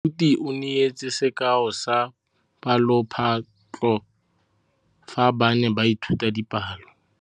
Moithuti o neetse sekaô sa palophatlo fa ba ne ba ithuta dipalo.